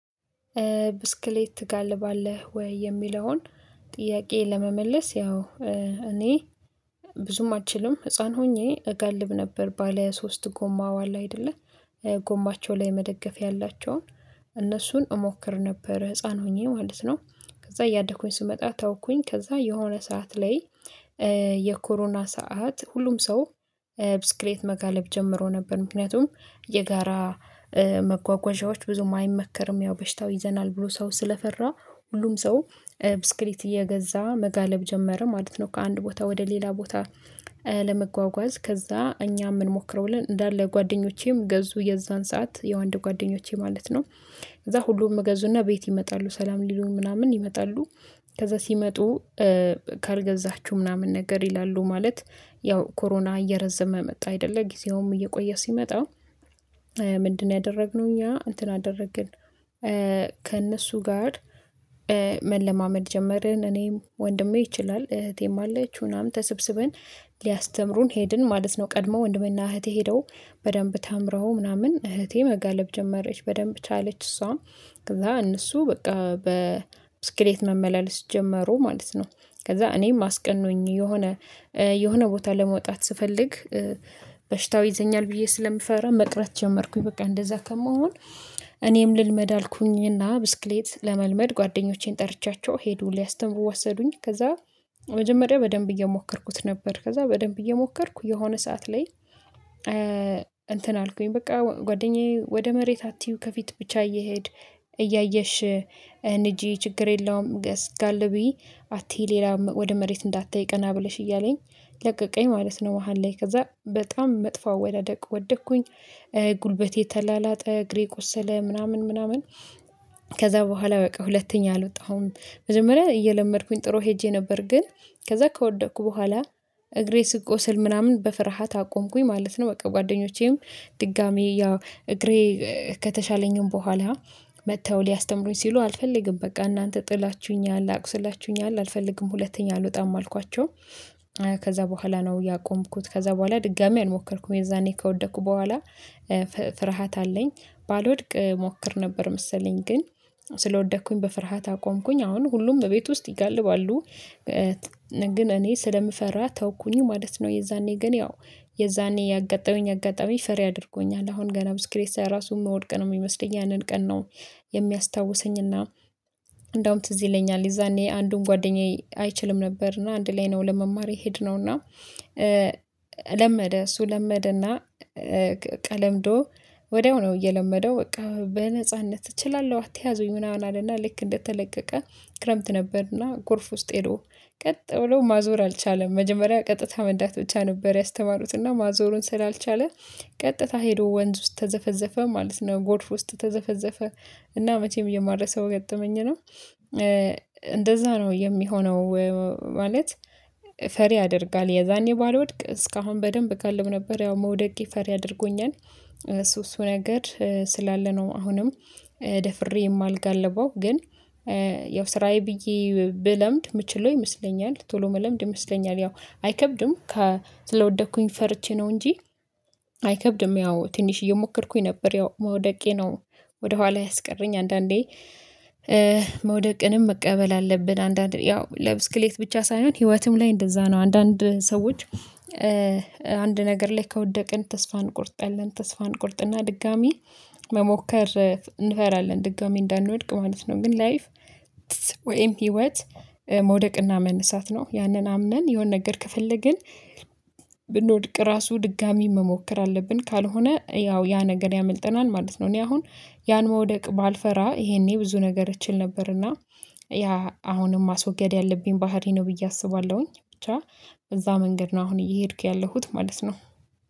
ብስክሌት ትጋልባለህ ወይ? የሚለውን ጥያቄ ለመመለስ ያው እኔ ብዙም አልችልም ህፃን ሆኜ እጋልብ ነበር ባለ ሶስት ጎማዋ አለ አይደለ ጎማቸው ላይ መደገፍ ያላቸውን እነሱን እሞክር ነበር ህፃን ሆኜ ማለት ነው። ከዛ እያደኩኝ ስመጣ ተውኩኝ ከዛ የሆነ ሰዓት ላይ የኮሮና ሰዓት ሁሉም ሰው ብስክሌት መጋለብ ጀምሮ ነበር ምክንያቱም የጋራ መጓጓዣዎች ብዙም አይመከርም ያው በሽታው ይዘናል ብሎ ሰው ስለፈራ ሁሉም ሰው ብስክሌት እየገዛ መጋለብ ጀመረን ማለት ነው። ከአንድ ቦታ ወደ ሌላ ቦታ ለመጓጓዝ ከዛ እኛም እንሞክረውለን እንዳለ ጓደኞቼም ገዙ የዛን ሰዓት የወንድ ጓደኞቼ ማለት ነው እዛ ሁሉም ገዙና ቤት ይመጣሉ ሰላም ሊሉን ምናምን ይመጣሉ። ከዛ ሲመጡ ካልገዛችሁ ምናምን ነገር ይላሉ ማለት ያው ኮሮና እየረዘመ መጣ አይደለ ጊዜውም እየቆየ ሲመጣ ምንድነው ያደረግነው እኛ እንትን አደረግን? ከእነሱ ጋር መለማመድ ጀመርን እኔም ወንድሜ ይችላል እህቴም አለች ምናምን ተሰብስበን ሊያስተምሩን ሄድን ማለት ነው። ቀድሞ ወንድምና እህቴ ሄደው በደንብ ተምረው ምናምን እህቴ መጋለብ ጀመረች በደንብ ቻለች እሷ ከዛ እነሱ በቃ በስክሌት መመላለስ ጀመሩ ማለት ነው። ከዛ እኔም አስቀኑኝ የሆነ የሆነ ቦታ ለመውጣት ስፈልግ በሽታው ይዘኛል ብዬ ስለምፈራ መቅረት ጀመርኩኝ በቃ እንደዛ ከመሆን እኔም ልልመድ አልኩኝና ብስክሌት ለመልመድ ጓደኞቼን ጠርቻቸው ሄዱ ሊያስተምሩ ወሰዱኝ። ከዛ መጀመሪያ በደንብ እየሞከርኩት ነበር ከዛ በደንብ እየሞከርኩ የሆነ ሰዓት ላይ እንትን አልኩኝ በቃ ጓደኛዬ ወደ መሬት አትይው ከፊት ብቻ እየሄድ እያየሽ ንጂ ችግር የለውም ገስጋል ብዬ አትይ ሌላ ወደ መሬት እንዳታይ ቀና ብለሽ እያለኝ ለቀቀኝ ማለት ነው። መሃል ላይ ከዛ በጣም መጥፎ አወዳደቅ ወደኩኝ ጉልበቴ ተላላጠ እግሬ ቆሰለ ምናምን ምናምን ከዛ በኋላ በቃ ሁለተኛ አልወጣሁም። መጀመሪያ እየለመድኩኝ ጥሩ ሄጄ ነበር ግን ከዛ ከወደኩ በኋላ እግሬ ስቆስል ምናምን በፍርሃት አቆምኩኝ ማለት ነው። በቃ ጓደኞቼም ድጋሚ ያው እግሬ ከተሻለኝም በኋላ መተው ሊያስተምሩኝ ሲሉ አልፈልግም በቃ እናንተ ጥላችሁኛል አቁስላችሁኛል አልፈልግም ሁለተኛ አልወጣም አልኳቸው። ከዛ በኋላ ነው ያቆምኩት ከዛ በኋላ ድጋሚ አልሞከርኩም የዛኔ ከወደኩ በኋላ ፍርሃት አለኝ ባልወድቅ እሞክር ነበር መሰለኝ ግን ስለወደኩኝ በፍርሃት አቆምኩኝ። አሁን ሁሉም በቤት ውስጥ ይጋልባሉ ግን እኔ ስለምፈራ ተውኩኝ ማለት ነው። የዛኔ ግን ያው የዛኔ ያጋጠመኝ አጋጣሚ ፈሪ አድርጎኛል አሁን ገና ብስክሌት ሳይ ራሱ ምወድቅ ሚመስለኝ ያንን ቀን ነው። የሚያስታውሰኝና እንደውም ትዝ ይለኛል የዛኔ አንዱን ጓደኛዬ አይችልም ነበር እና አንድ ላይ ነው ለመማር የሄድነው እና ለመደ እሱ ለመደ እና ቀ ለምዶ ወዲያው ነው እየለመደው በቃ በነጻነት እችላለሁ አትያዙኝ ምናምን አለና ልክ እንደተለቀቀ ክረምት ነበር ና ጎርፍ ውስጥ ሄዶ ቀጥ ብሎ ማዞር አልቻለም መጀመሪያ ቀጥታ መንዳት ብቻ ነበር ያስተማሩት ና ማዞሩን ስላልቻለ ቀጥታ ሄዶ ወንዝ ውስጥ ተዘፈዘፈ ማለት ነው። ጎርፍ ውስጥ ተዘፈዘፈ እና መቼም የማረሳው ገጠመኝ ነው እንደዛ ነው የሚሆነው። ማለት ፈሪ ያደርጋል የዛኔ ባልወድቅ እስካሁን በደንብ እጋልብ ነበር ያው መውደቄ ፈሪ አድርጎኛል። እሱ እሱ ነገር ስላለ ነው አሁንም ደፍሬ የማልጋልበው ግን ያው ስራዬ ብዬ ብለምድ ምችለው ይመስለኛል ቶሎ ምለምድ ይመስለኛል ያው አይከብድም ከስለወደኩኝ ፈርቼ ነው እንጂ አይከብድም ያው ትንሽ እዬሞከርኩኝ ነበር ያው መውደቄ ነው። ወደ ኋላ ያስቀረኝ አንዳንዴ መውደቅንም መቀበል አለብን አንዳንዴ ያው ለብስክሌት ብቻ ሳይሆን ህይወትም ላይ እንደዛ ነው አንዳንድ ሰዎች አንድ ነገር ላይ ከወደቅን ተስፋ እንቆርጣለን ተስፋ እንቆርጥና ድጋሚ መሞከር እንፈራለን ድጋሚ እንዳንወድቅ ማለት ነው። ግን ላይፍ ወይም ህይወት መውደቅና መነሳት ነው ያነን አምነን የሆነ ነገር ከፈለግን ብንወድቅ ራሱ ድጋሚ መሞከር አለብን ካልሆነ ያው ያ ነገር ያመልጠናል ማለት ነው። እኔ አሁን ያን መውደቅ ባልፈራ ይሄኔ ብዙ ነገር እችል ነበርና ያ አሁንም ማስወገድ ያለብኝ ባህሪ ነው ብዬ አስባለሁኝ። ብቻ እዛ መንገድ ነው አሁን እየሄድኩ ያለሁት ማለት ነው።